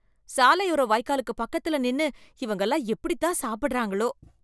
சாலையோர வாய்க்காலுக்கு பக்கத்துல நின்னு இவங்க எல்லாம் எப்படித்தான் சாப்பிடறாங்களோ.